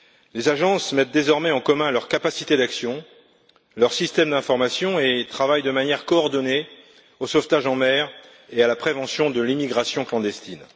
Les agences mettent désormais en commun leur capacité d'action et leurs systèmes d'information et travaillent de manière coordonnée au sauvetage en mer et à la prévention de l'immigration clandestine.